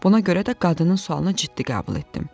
Buna görə də qadının sualını ciddi qəbul etdim.